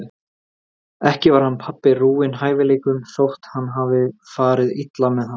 Ekki var hann pabbi rúinn hæfileikum þótt hann hafi farið illa með þá.